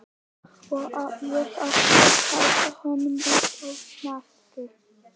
Og ég átti að halda honum uppi á snakki!